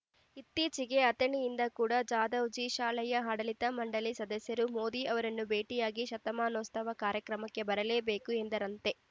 ಇತ್ತೀಚೆಗೆ ಅಥಣಿಯಿಂದ ಕೂಡ ಜಾಧವ್‌ಜಿ ಶಾಲೆಯ ಆಡಳಿತ ಮಂಡಳಿ ಸದಸ್ಯರು ಮೋದಿ ಅವರನ್ನು ಭೇಟಿಯಾಗಿ ಶತಮಾನೋತ್ಸವ ಕಾರ್ಯಕ್ರಮಕ್ಕೆ ಬರಲೇಬೇಕು ಎಂದರಂತೆ